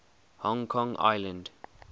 hong kong island